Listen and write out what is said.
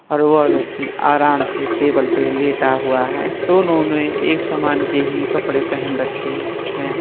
और वो व्यक्ति आराम से टेबल पर लेता हुआ है दोनों ने एक समान के हि कपड़े पहन रखे है।